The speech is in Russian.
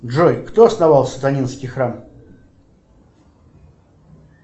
джой кто основал сатанинский храм